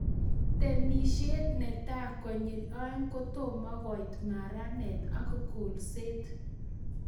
Temishe netai konyil oeng' kotomokoit maranet ak kolset